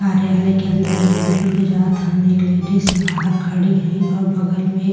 कार्यलाय के अंदर एक बुजुर्ग जा हन। एक लेडीज बाहर खड़ी हइन और बगल में --